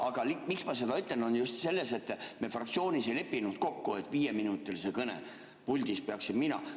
Aga miks ma seda ütlen, on just see, et me fraktsioonis ei leppinud kokku, et viieminutilise kõne puldis peaksin mina.